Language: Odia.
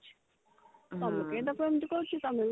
ତମେ କାଇଁ ତାକୁ ଏମତି କହୁଛୁ ତମେ ବି